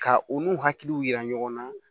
Ka u n'u hakiliw yira ɲɔgɔn na